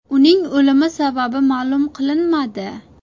Uning o‘limi sababi ma’lum qilinmadi.